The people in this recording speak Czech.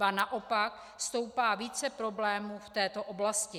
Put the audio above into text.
Ba naopak, stoupá více problémů v této oblasti.